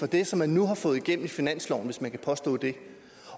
det som man nu har fået igennem i finansloven hvis man kan påstå det